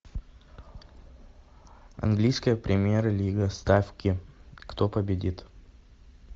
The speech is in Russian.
английская премьер лига ставки кто победит